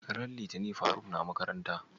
ran litinin faruk na makaranta?